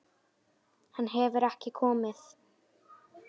Hann hefur ekki komið.